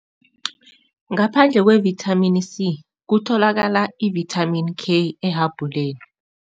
Ngaphandle kwe-Vitamin C, kutholakala ivithamini K ehabhuleni.